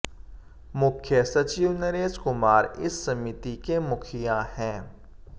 मुख्य सचिव नरेश कुमार इस समिति के मुखिया हैं